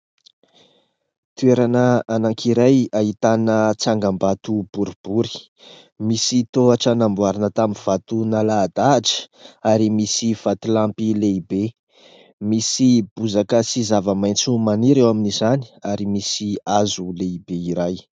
Toerana anankiray ahitana tsangambato boribory misy tohatra namboarina tamin'ny vato nalahadahatra ary misy vatolampy lehibe, misy bozaka sy zava-maitso maniry eo amin'izany ary misy hazo lehibe iray.